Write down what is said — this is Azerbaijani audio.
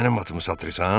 Mənim atımı satırsan?